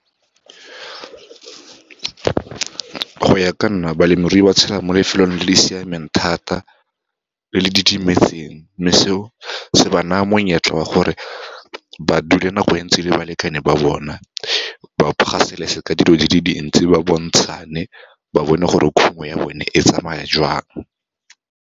Go ya ka nna, balemirui ba tshela mo lefelong le le siameng thata, le le didimetseng, mme seo se ba na monyetla wa go gore ba dule nako e ntsi le balekane ba bona, ba gasaletse ka dilo di le dintsi, ba bontshane, ba bone gore khumo ya bone e tsamaya joang.